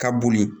Ka boli